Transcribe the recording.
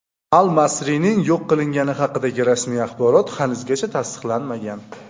Al-Masrining yo‘q qilingani haqidagi rasmiy axborot hanuzgacha tasdiqlanmagan.